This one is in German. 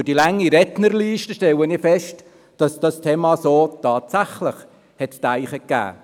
Aufgrund der langen Rednerliste stelle ich fest, dass dieses Thema tatsächlich zu denken gegeben hat.